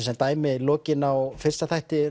sem dæmi lokin á fyrsta þætti